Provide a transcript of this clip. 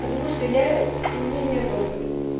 потому что я у меня нету опыта